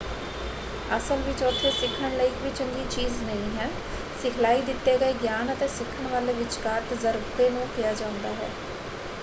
ਅਸਲ ਵਿੱਚ ਉੱਥੇ ਸਿੱਖਣ ਲਈ ਇੱਕ ਵੀ ਚੰਗੀ ਚੀਜ਼ ਨਹੀਂ ਹੈ। ਸਿਖਲਾਈ ਦਿੱਤੇ ਗਏ ਗਿਆਨ ਅਤੇ ਸਿੱਖਣ ਵਾਲੇ ਵਿਚਕਾਰ ਤਜਰਬੇ ਨੂੰ ਕਿਹਾ ਜਾਂਦਾ ਹੈ।